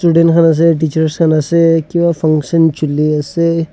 student khan ase teacher khan ase kiba function chole ase.